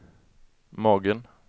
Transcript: magen